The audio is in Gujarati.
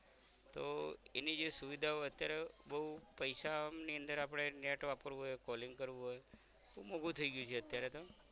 તો એની જે સુવિધાઓ અત્યારે બૌ પૈસા ની અંદર આપણે net વાપરવું હોય calling કરવું હોય તો મોઘું થઈ ગયું છે અત્યારે તો